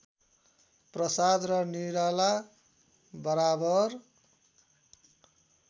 प्रसाद र निराला बराबर